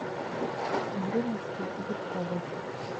мариночке бельковой